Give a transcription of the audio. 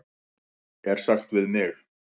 er sagt við mig?